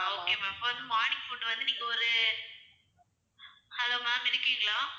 ஆஹ் okay ma'am இப்போ வந்து morning food வந்து நீங்க ஒரு hello ma'am இருக்கீங்களா?